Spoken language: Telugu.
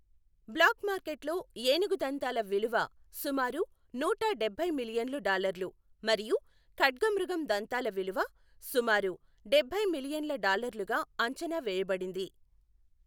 బ్లాక్ మార్కెట్లో ఏనుగు దంతాల విలువ సుమారు నూట డబ్బై మిలియన్లు డాల్లర్లు మరియు ఖడ్గమృగం దంతాల విలువ సుమారు డబ్బై మిలియన్ల డాల్లర్లగా అంచనా వేయబడింది.